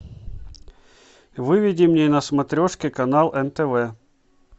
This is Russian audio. выведи мне на смотрешке канал нтв